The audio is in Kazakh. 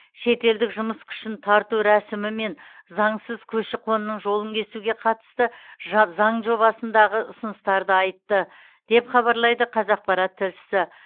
шетелдік жұмыс күшін тарту рәсімі мен заңсыз көші қонның жолын кесуге қатысты жа заң жобасындағы ұсыныстарды айтты деп хабарлайды қазақпарат тілшісі